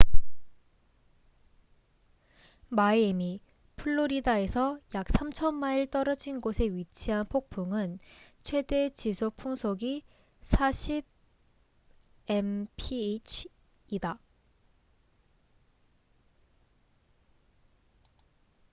마이애미 플로리다에서 약 3,000마일 떨어진 곳에 위치한 폭풍은 최대 지속 풍속이 40 mph64 kph이다